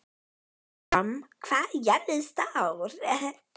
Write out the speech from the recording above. Híram, hvað er jörðin stór?